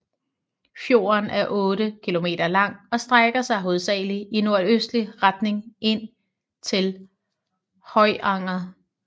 Fjorden er otte kilometer lang og strækker sig hovedsagelig i nordøstlig retning ind til Høyanger